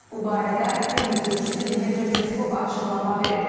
Bu barədə Kremlin sözçüsü Dimitri Peskov açıqlama verib.